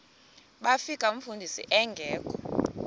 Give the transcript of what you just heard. bafika umfundisi engekho